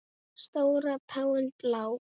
Stóra táin blá.